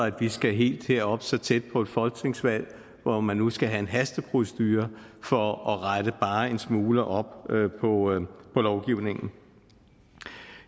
at vi skal helt herop så tæt på et folketingsvalg hvor man nu skal have en hasteprocedure for at rette bare en smule op på lovgivningen